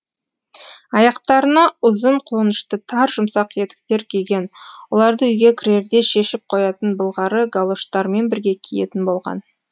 аяқтарына ұзын қонышты тар жұмсақ етіктер киген оларды үйге кірерде шешіп қоятын былғары галоштармен бірге киетін болған